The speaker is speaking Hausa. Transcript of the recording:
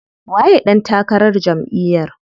Waye ɗan takarar jamʼiyar?